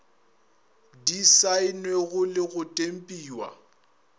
di saennwego le go tempiwa